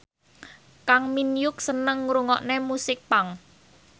Kang Min Hyuk seneng ngrungokne musik punk